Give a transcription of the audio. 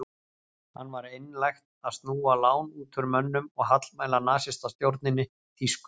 Hann var einlægt að snúa lán út úr mönnum og hallmæla nasistastjórninni þýsku.